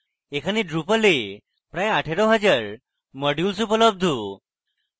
এখানে drupal এ প্রায় 18000 modules উপলব্ধ